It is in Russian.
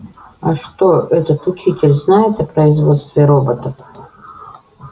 а что этот учитель знает о производстве роботов